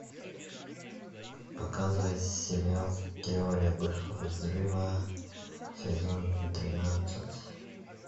показывай сериал теория большого взрыва сезон тринадцать